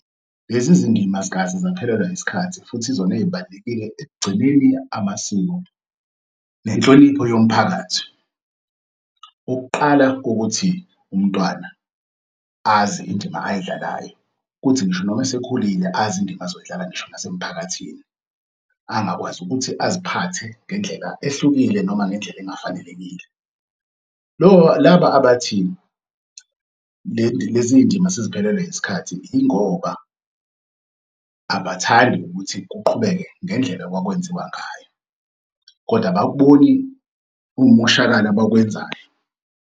Lezi zindima azikaze zaphelelwa isikhathi futhi izona ey'balulekile ekugcineni amasiko nenhlonipho yomphakathi. Ukuqala kokuthi umntwana azi indima ayidlalayo kuthi ngisho noma esekhulile azi indima ezoyidlala ngisho nasemphakathini angakwazi ukuthi aziphathe ngendlela ehlukile noma ngendlela engafanelekile. laba abathi leziy'ndima seziphelelwe isikhathi yingoba abathandi ukuthi kuqhubeke ngendlela okwakwenziwa ngayo, kodwa abakuboni ukumoshakala abakwenzayo.